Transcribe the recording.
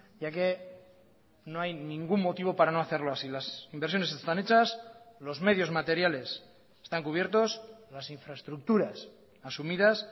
ya que no hay ningún motivo para no hacerlo así las inversiones están hechas los medios materiales están cubiertos las infraestructuras asumidas